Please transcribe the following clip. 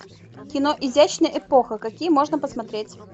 кино изящная эпоха какие можно посмотреть